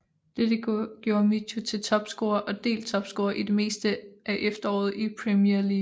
Dette gjorde Michu til topscorer og delt topscorer i det meste af efteråret i Premier League